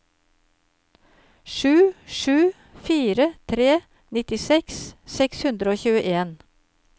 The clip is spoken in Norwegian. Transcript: sju sju fire tre nittiseks seks hundre og tjueen